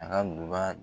A ka duba